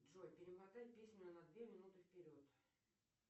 джой перемотай песню на две минуты вперед